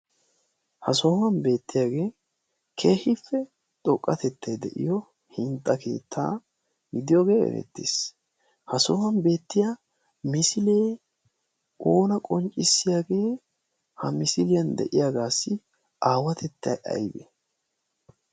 ha sohuwan beettiyaagee kehipe xoqqatettai de'iyo hintxa keettaa gidiyoogee erettiis. ha sohuwan beettiya misilee oona qonccissiyaagee ha misiliyan de'iyaagaassi aawatettay aybe?